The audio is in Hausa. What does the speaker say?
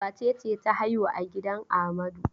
Wace ce ta haihu a gidan Amadu?